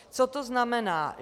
Co to znamená?